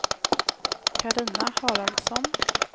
Carina Haraldsson